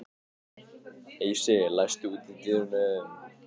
Heisi, læstu útidyrunum.